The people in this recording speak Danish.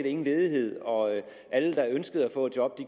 ingen ledighed og alle der ønskede at få et job